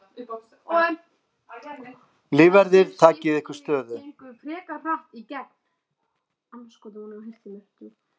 Lífverðir takið ykkur stöðu.